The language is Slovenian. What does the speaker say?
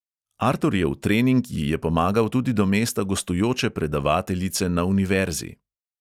Arturjev trening ji je pomagal tudi do mesta gostujoče predavateljice na univerzi.